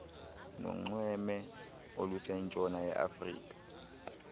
nonxweme olusentshona yeafrika